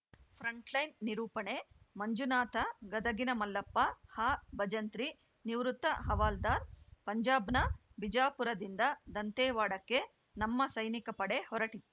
frontline ನಿರೂಪಣೆಮಂಜುನಾಥ ಗದಗಿನ ಮಲ್ಲಪ್ಪಹಬಜಂತ್ರಿನಿವೃತ್ತ ಹವಾಲ್ದಾರ್‌ ಪಂಜಾಬ್‌ನ ಬಿಜಾಪುರದಿಂದ ದಂತೇವಾಡಕ್ಕೆ ನಮ್ಮ ಸೈನಿಕ ಪಡೆ ಹೊರಟಿತ್